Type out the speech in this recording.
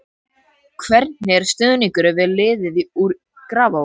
Hvernig er stuðningurinn við liðið í Grafarvogi?